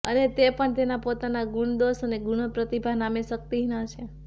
અને તે પણ તેના પોતાના ગુણદોષ અને ગુણો પ્રતિભા નામે શક્તિહિન હશે